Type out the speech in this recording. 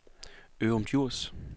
Ørum Djurs